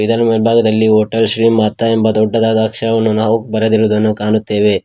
ದರ ಮೇಲ್ಭಾಗದಲ್ಲಿ ಹೋಟೆಲ್ ಶ್ರೀ ಮಾತಾ ಎಂಬ ದೊಡ್ಡದಾದ ಅಕ್ಷರವನ್ನು ನಾವು ಬರೆದಿರುದನ್ನು ಕಾಣುತ್ತೇವೆ.